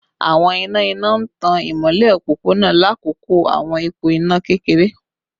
Awọn ina ina n tan imọlẹ opopona lakoko awọn ipo ina kekere